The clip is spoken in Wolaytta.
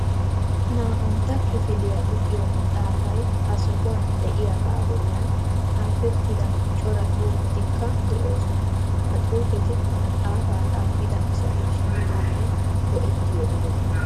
Naa"antta kifiliya luxiyo maxaafay ha sohuwan de'iyagaa bollan xaafettida cora xuufetikka de'oosona. Ha xuufeti maxaafaa xaafida asatu sunttaanne go'ettiyo ogeta.